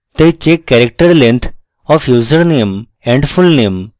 তাই check character length of username and fullname